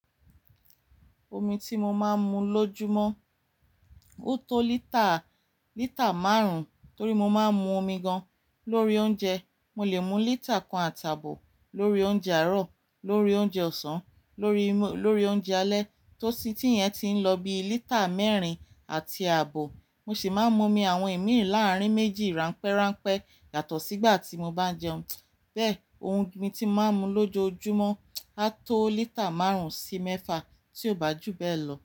Omi ti mo máa ń mu lójoojúmọ́ ó tó lítà, lítà márùn-ún torí mo máa ń mu omi gan-an lórí oúnjẹ. Mo lè mu lítà kan àti àbọ̀ lórí oúnjẹ àárọ̀, lórí oúnjẹ ọ̀sán, lórí, lórí oúnjẹ alẹ́ tó sì tí ìyẹn ti ń lọ bi lítà mẹ́rin àti àbọ̀. Mo sì máa ń mu omi àwọn ìmírìn láàárín méjì ránpẹ́ránpẹ́ yàtọ̀ sí ìgbà tí mo bá jẹun. Bẹ́ẹ̀, ohun omi tí máa ń mu lójoojúmọ́ á tó lítà márùn-ún sí mẹ́fà tí ó bá jù bẹ́ẹ̀ lọ.